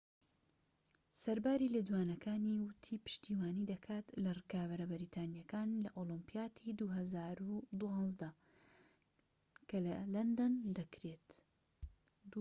سەرباری لێدوانەکانی، وتی پشتیوانی دەکات لە ڕکابەرە بەریتانیەکانی لە ئۆلۆمپیادی ٢٠١٢ دا کە لە لەندەن دەکرێت